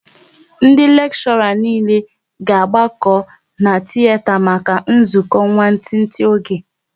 Ndị lekshora niile ga agbako n'tiyeta maka nzukọ nwantiti oge